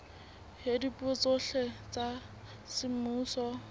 ya dipuo tsohle tsa semmuso